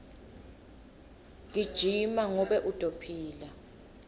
gijima ngobe utophila